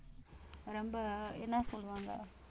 ரொம்ப என்ன சொல்லுவாங்க